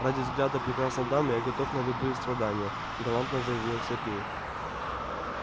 ради взгляда прекрасной дамы я готов на любые страдания галантно заявил сергей